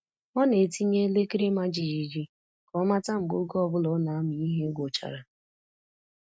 Ọ na-etinye elekere ịma jijiji ka ọ mata mgbe oge ọ bụla ọ na-amụ ihe gwụchara.